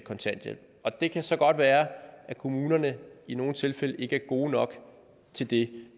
kontanthjælp og det kan så godt være at kommunerne i nogle tilfælde ikke er gode nok til det